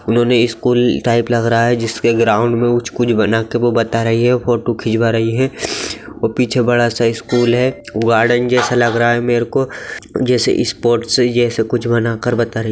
इन्होंने school type लग रहा है जिसके ग्राउन्ड मे कुछ बना के वो बता रही है फोटो खिचवा रही है और पीछे बड़ा सा स्कूल है गार्डन जैसा लग रहा है मेरेको जैसे स्पोर्ट्स है यह सब कुछ बना कर बता--